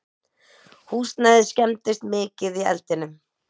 Húsnæðið skemmdist mikið í eldinum